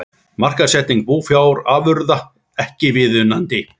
Markaðssetning búfjárafurða ekki viðunandi